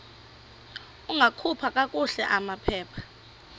ungakhupha kakuhle amaphepha